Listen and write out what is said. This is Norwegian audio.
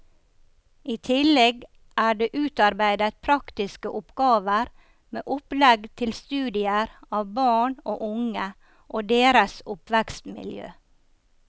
I tillegg er det utarbeidet praktiske oppgaver med opplegg til studier av barn og unge og deres oppvekstmiljø.